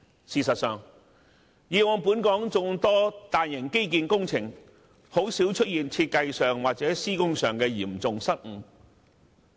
事實上，以往本港眾多大型基建工程，甚少出現設計或施工方面的嚴重失誤。